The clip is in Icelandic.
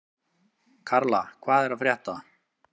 Karla, hvað er að frétta?